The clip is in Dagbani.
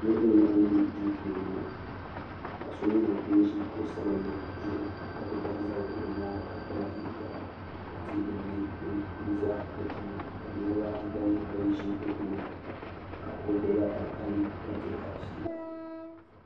niriba n laɣim bɛ do puuni ŋɔ paɣ' so nyɛla ŋɔ ʒɛ kuɣ' sabinli zuɣ ka kuli bahi zabiri o nyɛŋa ka kpa nɛkpara ka gba nyɛ dini za be tuuni ka niribaayi gba nyɛ be tuuni ka gbabila alikalimi ka diriba ƒɛla